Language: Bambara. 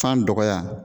Fan dɔgɔya